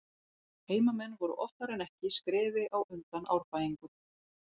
Heimamenn voru oftar en ekki skrefi á undan Árbæingum.